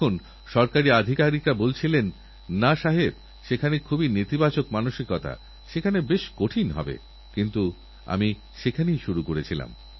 সরকার হাসপাতাল ডাক্তাররা তো নিজেদের কাজ করবেনই কিন্তু আমাদেরও সর্তক থাকতেহবে যাতে আমাদের ঘরে আমাদের এলাকায় আমাদের পরিবারে ডেঙ্গু প্রবেশ করতে না পারেএবং জলবাহিত কোনো রোগ যেন না হয়